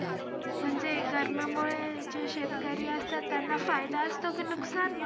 म्हणजे गर्मी मुळे जे शेतकरी असता त्यांना फायदा असतो कि नुकसान?